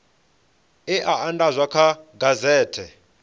e a andadzwa kha gazethe